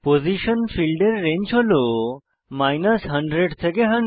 position ফীল্ডের range হল 100 থেকে 100